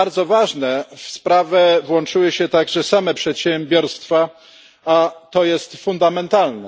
Co bardzo ważne, w sprawę włączyły się także same przedsiębiorstwa, a to jest fundamentalne.